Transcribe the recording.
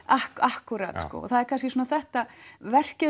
akkúrat það er kannski þetta verkið